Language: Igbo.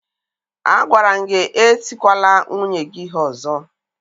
Agwara m gị etikwala nwunye gị ihe ọzọ!